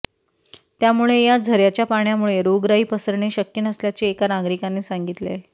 त्यामुळे या झऱयाच्या पाण्यामुळे रोगराई पसरणे शक्य नसल्याचे एका नागरिकाने सांगितले